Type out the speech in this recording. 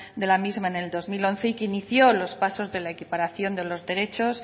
de la misma en el dos mil once y que inició los pasos de la equiparación de los derechos